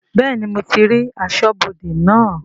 Bẹ́ẹ̀ni mo ti rí aṣọ́bodè naa